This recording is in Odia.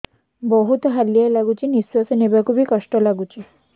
ବହୁତ୍ ହାଲିଆ ଲାଗୁଚି ନିଃଶ୍ବାସ ନେବାକୁ ଵି କଷ୍ଟ ଲାଗୁଚି